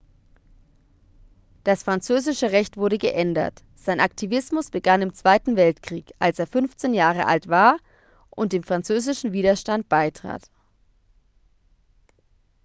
das französische recht wurde geändert sein aktivismus begann im zweiten weltkrieg als er 15 jahre alt war und dem französischen widerstand beitrat